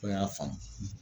O y'a faamu.